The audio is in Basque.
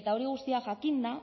eta hori guztia jakinda